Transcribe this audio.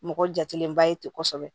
Mɔgɔ jatelenba ye ten kosɛbɛ